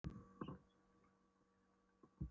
Óskar sagði við Kára að þeir skyldu koma heim.